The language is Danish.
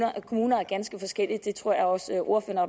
er at kommuner er ganske forskellige det tror jeg også ordføreren